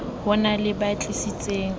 ho na le ba tlisitseng